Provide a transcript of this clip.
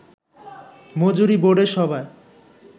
মজুরি বোর্ডের সভায়